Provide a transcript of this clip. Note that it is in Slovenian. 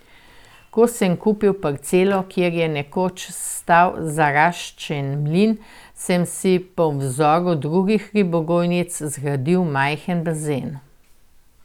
Ko sem kupil parcelo, kjer je nekoč stal zaraščen mlin, sem si po vzoru drugih ribogojnic zgradil majhen bazen.